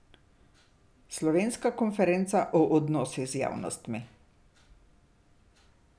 Slovenska konferenca o odnosih z javnostmi.